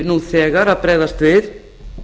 nú þegar að bregðast við